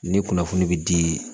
Ni kunnafoni be di